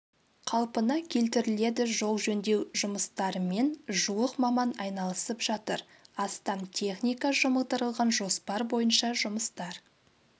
қалпына келтіріледі жол жөндеу жұмыстарымен жуық маман айналысып жатыр астам техника жұмылдырылған жоспар бойынша жұмыстар